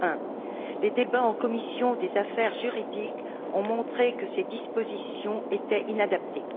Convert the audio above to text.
2001. Les débats tenus en commission des affaires juridiques ont montré que ces dispositions étaient inadaptées.